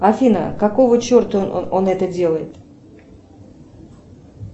афина какого черта он это делает